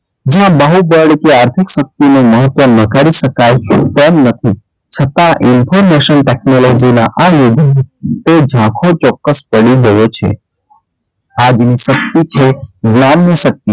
જે બાહુબળ કે આર્થિક શક્તિનું મહત્વ નકારી શકાય તેમ નથી છતાં information technology ના આ યુગ એ ઝાંખો ચોક્કસ પડી ગયો છે આજની શક્તિ છે જ્ઞાનની શક્તિ,